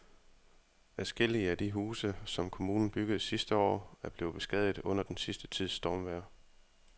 Adskillige af de huse, som kommunen byggede sidste år, er blevet beskadiget under den sidste tids stormvejr.